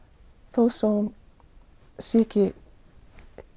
þó svo að hún sé ekki